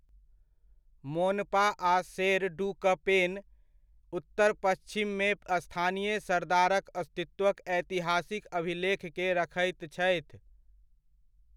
मोनपा आ शेरडुकपेन, उत्तर पच्छिममे स्थानीय सरदारक अस्तित्वक ऐतिहासिक अभिलेख के रखैत छथि।